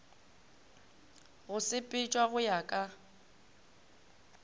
go sepetšwa go ya ka